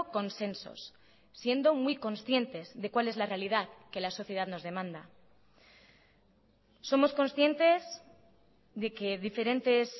consensos siendo muy conscientes de cual es la realidad que la sociedad nos demanda somos conscientes de que diferentes